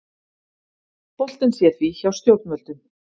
Boltinn sé því hjá stjórnvöldum